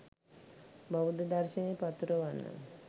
බෞද්ධ දර්ශනය පතුරවන්න.